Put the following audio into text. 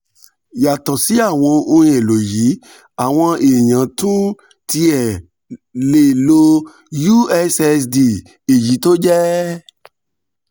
yàtọ̀ sí àwọn ohun èlò yìí àwọn èèyàn tún ń tẹ̀ lé ussd èyí tó jẹ́